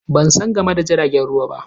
Ban san game da jiragen ruwa ba.